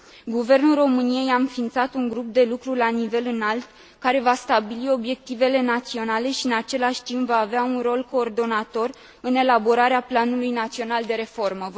Guvernul României a înființat un grup de lucru la nivel înalt care va stabili obiectivele naționale și, în același timp, va avea un rol coordonator în elaborarea Planului național de reformă.